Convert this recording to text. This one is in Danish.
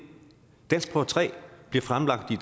danskprøve tre bliver fremlagt i